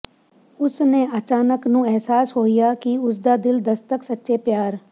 ਉਸ ਨੇ ਅਚਾਨਕ ਨੂੰ ਅਹਿਸਾਸ ਹੋਇਆ ਕਿ ਉਸ ਦਾ ਦਿਲ ਦਸਤਕ ਸੱਚੇ ਪਿਆਰ